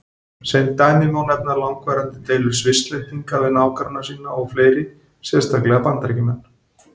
Sem dæmi má nefna langvarandi deilur Svisslendinga við nágranna sína og fleiri, sérstaklega Bandaríkjamenn.